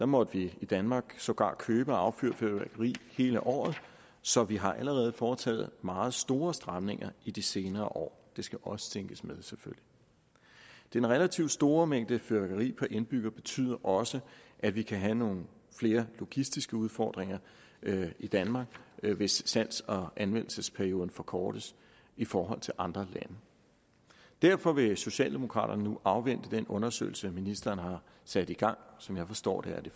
måtte vi i danmark sågar købe og affyre fyrværkeri hele året så vi har allerede foretaget meget store stramninger i de senere år det skal også tænkes med selvfølgelig den relativt store mængde af fyrværkeri per indbygger betyder også at vi kan have nogle flere logistiske udfordringer i danmark hvis salgs og anvendelsesperioden forkortes i forhold til andre lande derfor vil socialdemokraterne nu afvente den undersøgelse ministeren har sat i gang som jeg forstår det er